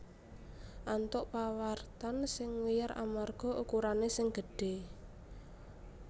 antuk pawartan sing wiyar amarga ukurané sing gedhé